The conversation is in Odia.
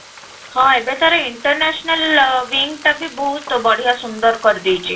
ହଁ, ଏବେ ତା'ର international wing ଟା ବି ବହୁତ ବଢିଆ ସୁନ୍ଦର କରି ଦେଇଛି